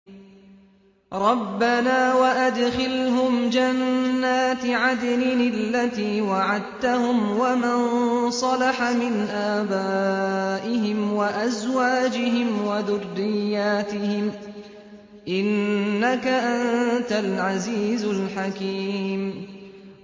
رَبَّنَا وَأَدْخِلْهُمْ جَنَّاتِ عَدْنٍ الَّتِي وَعَدتَّهُمْ وَمَن صَلَحَ مِنْ آبَائِهِمْ وَأَزْوَاجِهِمْ وَذُرِّيَّاتِهِمْ ۚ إِنَّكَ أَنتَ الْعَزِيزُ الْحَكِيمُ